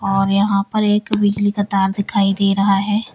और यहां पर एक बिजली का तार दिखाई दे रहा है।